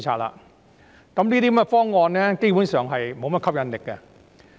這個方案基本上沒有甚麼吸引力。